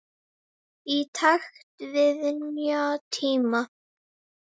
Í takt við nýja tíma.